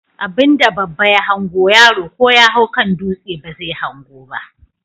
Abinda babba ya hango yaro ko yahau kan dutse bazai hango ba?